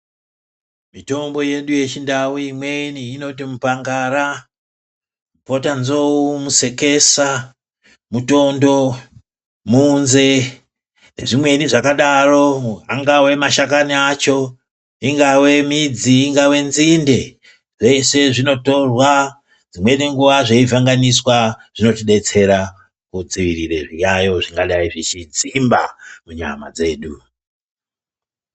Mitombo yedu yechindau imweni inoti mupangara, potanzou, musekesa, mutondo, muunze, nezvimweni zvakadaro. Angave mashakani acho, ingave midzi, ingave nzinde, zvese zvinotorwa dzimweni nguwa zveivhenganiswa. Zvinotidetsera kudzivirire zviyayo zvingadai zvechidzimba munyama dzedu.